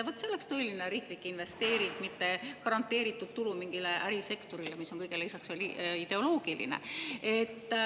Vot see oleks tõeline riiklik investeering, mitte garanteeritud tulu mingile ärisektorile, mis on kõigele lisaks veel ideoloogiline.